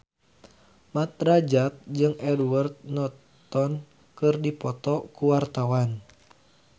Mat Drajat jeung Edward Norton keur dipoto ku wartawan